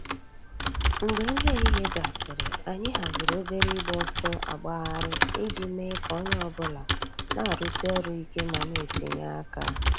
Mgbè nrí èhìhìè gásịrị, ànyị̀ hàzìrì òbèrè ị̀gba òsọ̀ àgbàghàrì íjì mée kà ònyè ọ̀bula nà-àrụ́sí òrụ̀ íké mà nà-ètìnyè àkà.